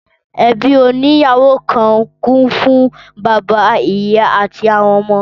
Ẹbí oní ìyàwó kan kún fún bàbá, ìyá, àti àwọn ọmọ